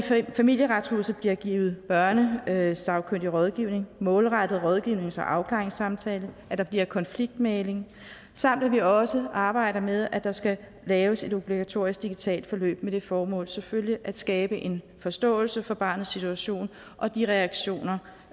familieretshuset bliver givet børnesagkyndig rådgivning målrettet rådgivnings og afklaringssamtale at der bliver konfliktmægling samt at vi også arbejder med at der skal laves et obligatorisk digitalt forløb med det formål selvfølgelig at skabe en forståelse for barnets situation og de reaktioner